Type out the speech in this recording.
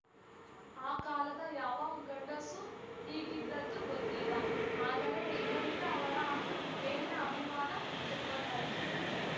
ಆ ಕಾಲದ ಯಾವ ಗಂಡಸೂ ಹೀಗಿದ್ದದ್ದು ಗೊತ್ತಿಲ್ಲ ಆದರೆ ಇದರಿಂದ ಅವರ ಮೇಲಿನ ಅಭಿಮಾನ ದುಪ್ಪಟ್ಟಾಯ್ತು